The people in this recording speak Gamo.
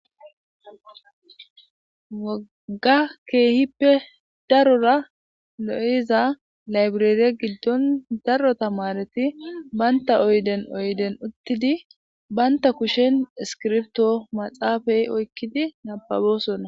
Woogga keehippe darora lo'iza layibireere giddon daro tamareti bantta oydden oydden uuttidii bantta kushen iskirbitto maxaafe oykkidi nababbosonna